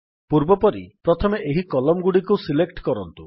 ପୂର୍ବପରି ପ୍ରଥମେ ଏହି କଲମ୍ ଗୁଡ଼ିକୁ ସିଲେକ୍ଟ କରନ୍ତୁ